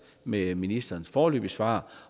med ministerens foreløbige svar